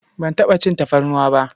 Ban taɓa cin tafarnuwa ba.